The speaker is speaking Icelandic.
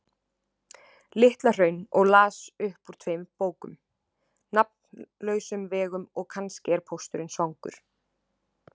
Litla-Hraun og las upp úr tveimur bókum: Nafnlausum vegum og Kannski er pósturinn svangur.